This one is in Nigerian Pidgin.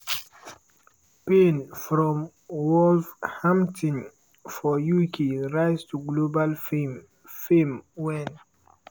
payne from wolverhampton for uk rise to global fame fame wen